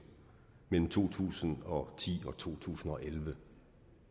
mellem to tusind og ti og to tusind og elleve